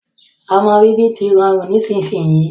Ọmọ bíbí tí rọrùn nísinsìnyi